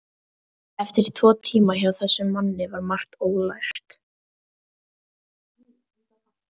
Eftir tvo tíma hjá þessum manni var margt ólært.